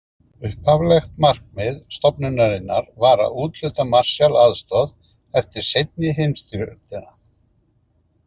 Upphaflegt markmið stofnunarinnar var að úthluta Marshall-aðstoð eftir seinni heimsstyrjöldina.